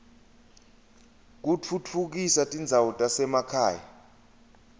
kutfutfukisa tindzawo tasema khaya